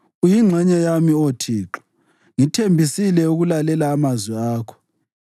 Uyingxenye yami, Oh Thixo, ngithembisile ukulalela amazwi akho.